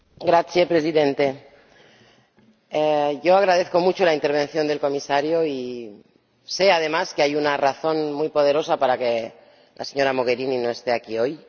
Señor Presidente, yo agradezco mucho la intervención del Comisario y sé, además, que hay una razón muy poderosa para que la señora Mogherini no esté aquí hoy.